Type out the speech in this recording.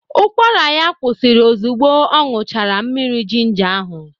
Ụkwara ya kwụsịrị ozugbo ọ ñụchara mmiri jinja ahụ.